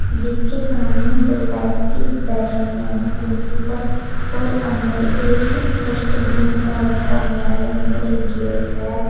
जिसके सामने दो व्यक्ति बैठे हुए हैं कुर्सी पर और अंदर एक डस्टबिन सा रखा हुआ है अंदर एक गेट है।